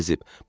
o bezib.